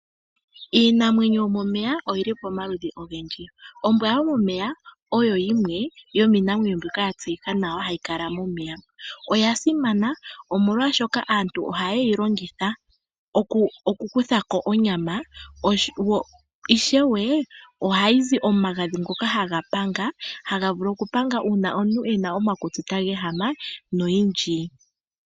Iinamwenyo yomomeya oyili pomaludhi ogendji. Ombwa yomomeya oyo yimwe yomiinamwenyo mbyoka yatseyika nawa hayi kala momeya. Oyasimana omolwaashoka aantu ohayeyi longitha okukuthako onyama , ishewe ohayi zi omagadhi taga vulu okupanga uuna omuntu te ehama omakutsi nayilwe.